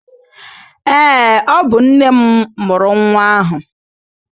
Ee, ọ bụ nne m murụ nwa ahụ